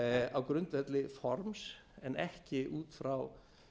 á grundvelli forms en ekki út frá